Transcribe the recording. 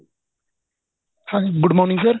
ਹਾਂਜੀ good morning sir